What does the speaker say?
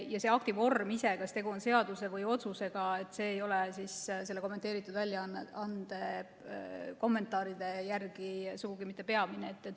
Ja see akti vorm ise – kas tegu on seaduse või otsusega, ei ole selle kommenteeritud väljaande kommentaaride järgi sugugi mitte peamine.